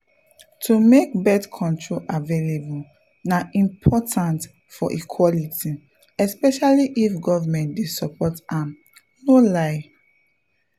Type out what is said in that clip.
to make birth control available na important for equality especially if government dey support am no lie.